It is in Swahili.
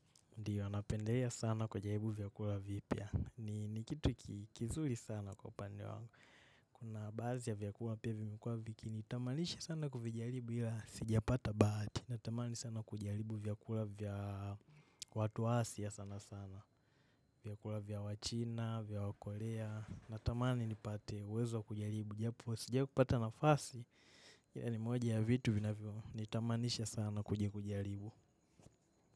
Ndiyo, anapendelea sana kujaribu vyakula vipya. Ni kitu kizuri sana kwa upande wangu. Kuna baadhi ya vyakula pia vimekuwa vikinitamanisha sana kuvijaribu ila sijapata bahati. Natamani sana kujaribu vyakula vya watu wa asia sana sana. Vyakula vya wachina, vya wakorea. Natamani nipate uwezo wa kujaribu. Japo, sijawai kupata nafasi, ila ni moja ya vitu vinavyo. Naitamanisha sana kuja kujaribu.